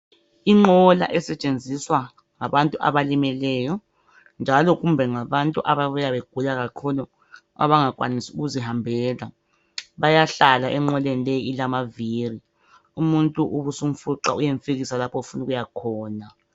Inqola esetshenziswa ngabantu abalimeleyo njalo kumbe ngabantu ababuya begula kakhulu. Abangakwanisi ukuzihambela. Bayahlala enqoleni le ilamaviri. Umuntu ubusumfuqa uyemfikisa lapho ofuna ukuyakhona.